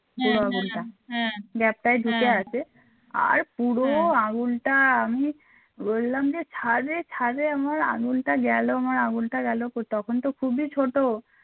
বললাম যে ছাড় রে ছাড় রে আমার আঙুলটা গেল আমার আঙুলটা গেল তো তখন তো খুবই ছোট